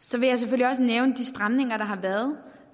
så vil jeg selvfølgelig også nævne de stramninger der har været